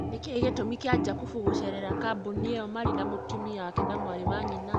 Nĩkĩĩ gĩtumi kĩa Jakubu gũcerera kambũni ĩyo marĩ na mũtũmia wake na mwarĩ wa nyina